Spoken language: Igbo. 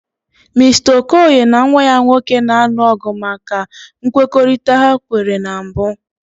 Mister Okoye na nwa ya nwoke na-alụ ọgụ maka nkwekọrịta ha nwere na mbụ.